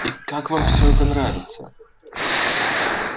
и как вам всё это нравится